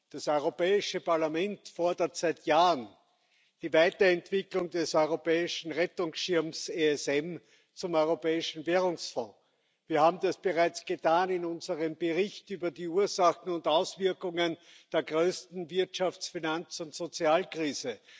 Das Europäische Parlament fordert seit Jahren die Weiterentwicklung des europäischen Rettungsschirms ESM zum Europäischen Währungsfonds. Wir haben das bereits getan in unserem Bericht über die Ursachen und Auswirkungen der größten Wirtschafts Finanz und Sozialkrise.